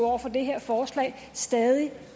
over for det her forslag stadig